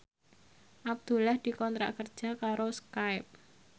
Abdullah dikontrak kerja karo Skype